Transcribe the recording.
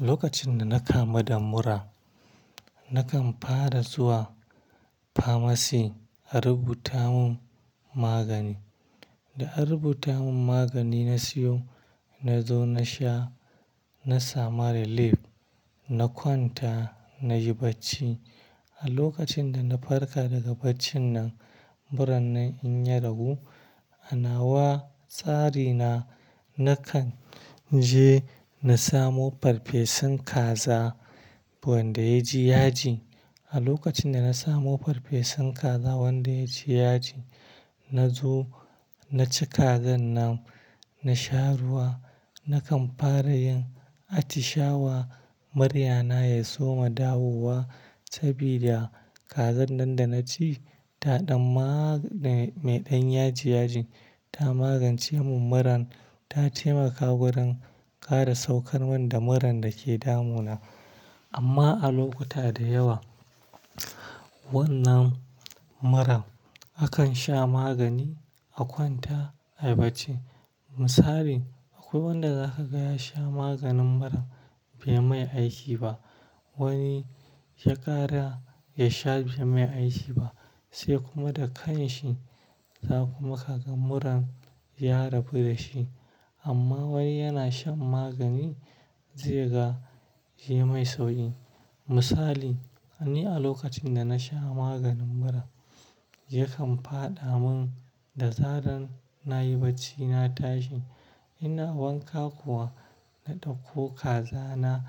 Lokacin da na kamu da mura, na kan fara zuwa famasi a rubuta mun magani. Da an rubuta mun magani na siyo, na zo na sha, na samu relief, na kwanta, na yi bacci. A lokacin da na farka daga baccin nan, muran na in ya ragu, a nawa tsari na, na kan je na samo farfesun kaza wanda ya ji yaji. A lokacin da na samo farfesun kaza wanda ya ji yaji, na zo na ci kazan nan, na sha ruwa. Na kan fara yin atishawa, murya na ya soma dawowa sabida kazan nan da na ci ta ɗan ma-- mai ɗan yaji, yaji ta magance mun muran, ta taimaka wurin ƙara saukarman da muran da ke damu na. Amma a lokuta da yawa, wannan muran akan sha magani, a kwanta, a yi bacci. Misali, akwai wanda za ka ga ya sha maganin mura bai mai aiki ba. Wani shekara ya sha bai mai aiki ba sai kuma da kan shi za kuma ka ga muran ya rabu da shi. Amma wani yana shan magani, zai ga, yayi mai sauƙi. Misali, ni a lokacin da na sha maganin mura, yakan fadamin da zaran na yi bacci na tashi. Ina wanka kuwa, na ɗauko kaza na